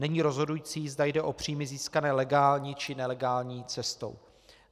Není rozhodující, zda jde o příjmy získané legální, či nelegální cestou.